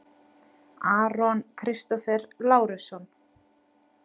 Aron Kristófer Lárusson